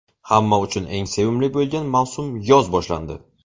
Hamma uchun eng sevimli bo‘lgan mavsum yoz boshlandi.